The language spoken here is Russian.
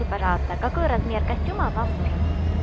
и пожалуйста какой размер костюма вам нужен